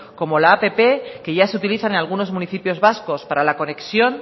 como la app que ya se utiliza en algunos municipios vascos para la conexión